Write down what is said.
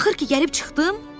Axır ki, gəlib çıxdım!